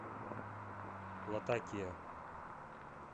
латакия